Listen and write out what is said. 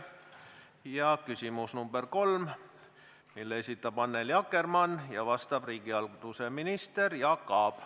Järgmine on küsimus nr 3, mille esitab Annely Akkermann ja millele vastab riigihalduse minister Jaak Aab.